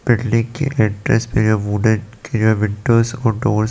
building के entrance में है वुड एंड क्लियर विंडोज और डोर्स --